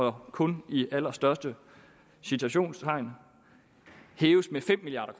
er kun i de allerstørste citationstegn hæves med fem milliard